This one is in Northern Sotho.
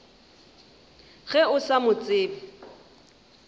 ge o sa mo tsebe